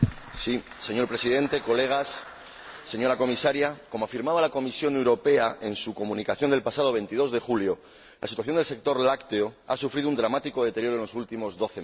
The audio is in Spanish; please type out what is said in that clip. Señor Presidente, colegas, señora Comisaria, como afirmaba la Comisión Europea en su Comunicación del pasado 22 de julio, la situación del sector lácteo ha sufrido un dramático deterioro en los últimos doce meses.